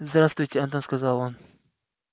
здравствуйте антон сказал он